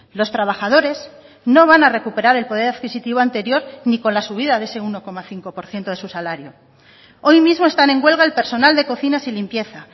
los trabajadores no van a recuperar el poder adquisitivo anterior ni con la subida de ese uno coma cinco por ciento de su salario hoy mismo están en huelga el personal de cocinas y limpieza